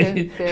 ser